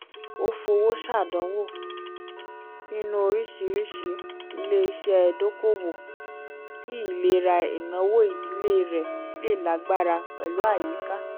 ó fowó ṣàdánwò nínú oríṣìíríṣìí ilé-iṣẹ́ dokoowó kí ìlera ináwó ìdílé rẹ̀ lè lágbára pẹ̀lú àyíká